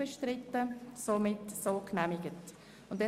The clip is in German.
Art. 167 Abs. 3 Angenommen